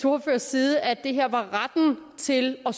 ordførers side at det her var retten til at